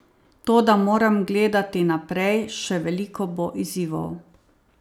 Toda moram gledati naprej, še veliko bo izzivov.